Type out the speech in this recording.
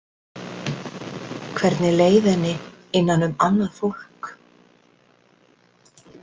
Hvernig leið henni innan um annað fólk?